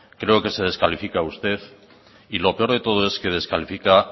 creo que se descalifica usted y lo peor de todo es que descalifica